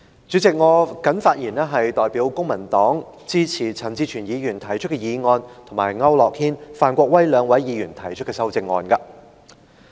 主席，我代表公民黨發言，支持陳志全議員動議的議案和區諾軒議員及范國威議員提出的修正案。